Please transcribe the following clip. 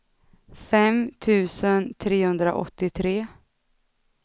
fem tusen trehundraåttiotre